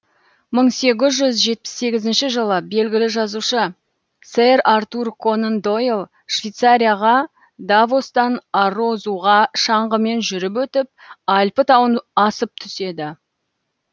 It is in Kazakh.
мың сегіз жүз жетпіс сегізінші жылы белгілі жазушы сэр артур конан дойл швейцарияға давостан арозуға шаңғымен жүріп өтіп альпі тауын асып түседі